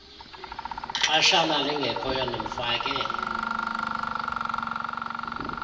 xeshana lingekhoyo ndimfake